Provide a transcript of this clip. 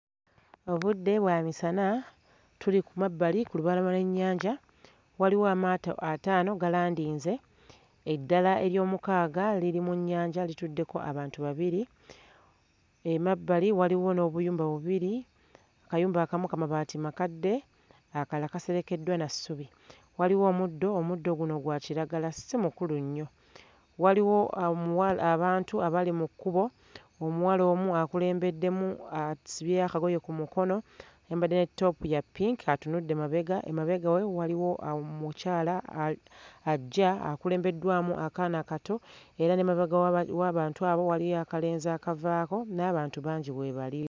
Obudde bwa misana, tuli ku mabbali ku lubalama lw'ennyanja waliwo amaato ataano galandinze eddala eryomukaaga liri mu nnyanja lituddeko abantu babiri, emabbali waliwo n'obuyumba bubiri akayumba akamu ka mabaati makadde akalala kaserekeddwa na ssubi. Waliwo omuddo, omuddo guno gwa kiragala si mukulu nnyo. Waliwo amuwa abantu abali mu kkubo, omuwala omu akulembeddemu asibye akagoye ku mukono ayambadde ne ttoopu ya ppinki atunudde mabega emabega we waliwo omukyala a ajja akulembeddwamu akaana akato era n'emabega w'aba w'abantu abo waliyo akalenzi akavaako n'abantu bangi we bali.